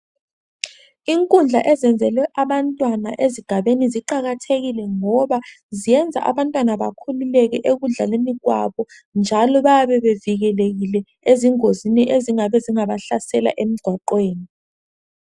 Inkundla ezenzelwe abantwana ezigabeni ziqakathekile ngoba ziyenza abantwana bakhululeke ekudlaleni kwabo njalo bayabe bevikelekile ezingozini ezingabe zingabahlasela emigwaqweni